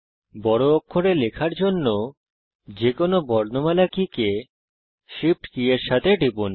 বড় অক্ষরে লেখার জন্য যেকোনো বর্ণমালা কী কে Shift কি এর সাথে টিপুন